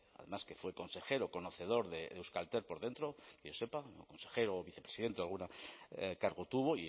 además que fue consejero conocedor de euskaltel por dentro que yo sepa consejero o vicepresidente algún cargo tuvo